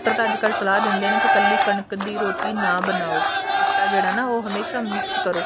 doctor ਤਾਂ ਅੱਜਕਲ ਸਲਾਹ ਦਿੰਦੇ ਨੇ ਕੇ ਕੱਲੀ ਕਣਕ ਦੀ ਰੋਟੀ ਨਾ ਬਣਾਓ ਆਟਾ ਜਿਹੜਾ ਨਾ ਹਮੇਸ਼ਾ mix ਕਰੋ